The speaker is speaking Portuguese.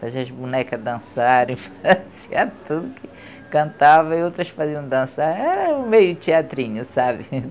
Fazia as bonecas dançarem, fazia tudo, cantava e outras faziam dançar é meio teatrinho, sabe?